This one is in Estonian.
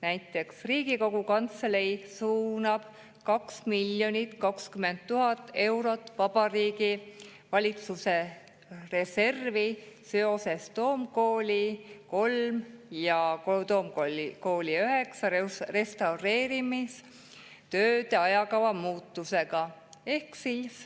Näiteks Riigikogu Kantselei suunab 2 020 000 eurot Vabariigi Valitsuse reservi seoses Toom-Kooli 3 ja Toom-Kooli 9 restaureerimistööde ajakava muutusega.